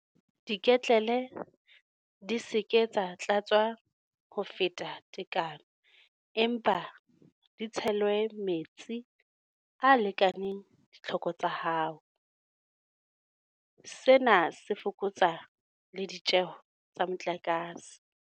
Diketlele di se ke tsa tlatswa ho feta tekano empa di tshelwe metsi a lekaneng ditlhoko tsa hao. Sena se fokotsa le ditjeho tsa motlakase.